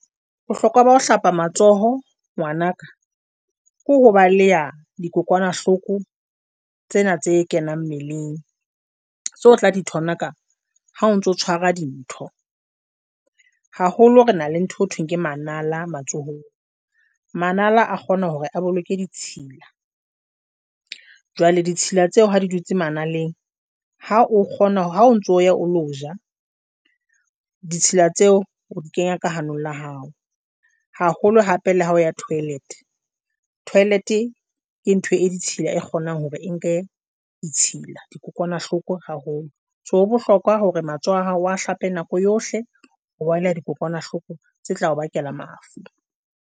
Bohlokwa ba ho hlapa matsoho ngwanaka ke ho baleha dikokwanahloko tsena tse kenang mmeleng. Tso tla di thonaka ha o ntso tshwara dintho haholo re na le ntho thweng ke manala matsohong manala a kgona hore a boloke ditshila. Jwale ditshila tseo ha di dutse ma naleng ha o kgona ha o ntso ya o lo ja ditshila tseo o di kenya ka hanong la hao haholo hape la hao ya toilet, toilet e ke ntho e ditshila e kgonang hore e nke ditshila dikokwanahloko haholo. So ho bohlokwa hore matsoho a hao a hlape nako yohle, o balehe dikokwanahloko tse tlao bakela mafu.